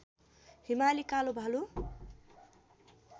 हिमाली कालो भालु